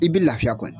I bɛ lafiya kɔni